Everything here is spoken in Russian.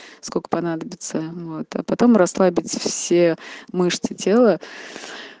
сколько понадобится вот потом расслабить все мышцы тела